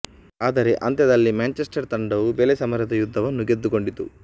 ಆದರೆ ಅಂತ್ಯದಲ್ಲಿ ಮ್ಯಾಂಚೆಸ್ಟರ್ ತಂಡವು ಬೆಲೆ ಸಮರದ ಯುದ್ಧವನ್ನು ಗೆದ್ದುಕೊಂಡಿತು